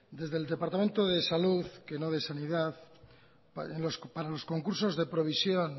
desde el departamento de salud que no de sanidad para los concursos de provisión